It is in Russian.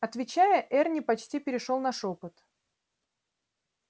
отвечая эрни почти перешёл на шёпот